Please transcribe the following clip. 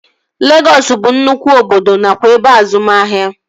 Legọs bụ nnụkwụ obodo nakwa ebe azụmahịa